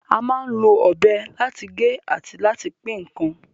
A máa ń lo ọ̀bẹ láti gé àti láti pín ǹkan